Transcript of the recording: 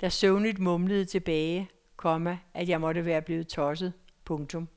der søvnigt mumlede tilbage, komma at jeg måtte være blevet tosset. punktum